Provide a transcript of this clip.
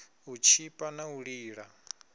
u tshipa na u lila